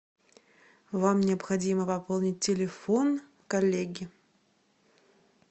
вам необходимо пополнить телефон коллеги